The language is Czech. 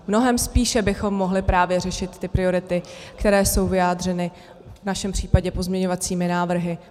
Mnohem spíše bychom mohli právě řešit ty priority, které jsou vyjádřeny v našem případě pozměňovacími návrhy.